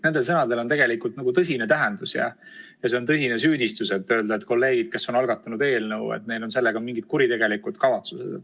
Sel sõnal on tõsine tähendus ja on tõsine süüdistus öelda, et kolleegidel, kes on algatanud eelnõu, on sellega mingid kuritegelikud kavatsused.